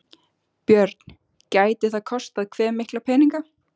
Björn: Gæti það kostað hve mikla peninga?